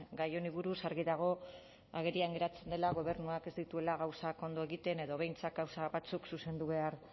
gai honi buruz argi dago agerian geratzen dela gobernuak ez dituela gauzak ondo egiten edo behintzat gauza batzuk zuzendu behar